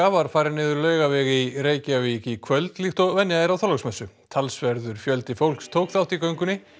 var farin niður Laugaveg í Reykjavík í kvöld líkt og venja er á Þorláksmessu talsverður fjöldi fólks tók þátt í göngunni